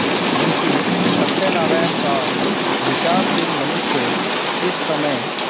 मुंशी सत्यनारायणसा विचारशील मनुष्य इस समय